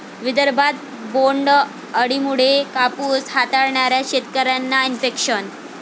विदर्भात बोंड अळीमुळे कापूस हाताळणाऱ्या शेतकऱ्यांना इन्फेक्शन